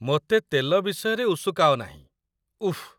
ମୋତେ ତେଲ ବିଷୟରେ ଉସୁକାଅ ନାହିଁ, ଉଫ୍‌।